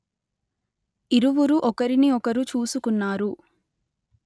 ఇరువురు ఒకరిని ఒకరు చూసుకున్నారు